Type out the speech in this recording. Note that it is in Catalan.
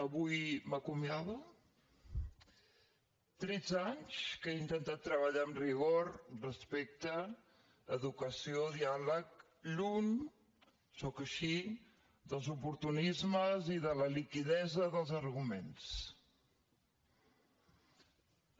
avui m’acomiado tretze anys que he intentat treballar amb rigor respecte educació i diàleg lluny sóc així dels oportunismes i de la liquiditat dels arguments